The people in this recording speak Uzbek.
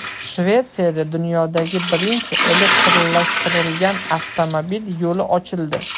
Shvetsiyada dunyodagi birinchi elektrlashtirilgan avtomobil yo‘li ochildi.